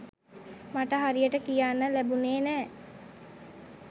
මට හරියට කියන්න ලැබුණේ නෑ.